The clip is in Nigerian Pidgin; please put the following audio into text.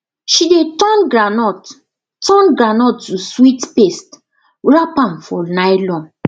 she dey turn groundnut turn groundnut to sweet paste wrap am for nylon